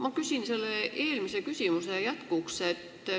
Ma küsin selle eelmise küsimuse jätkuks.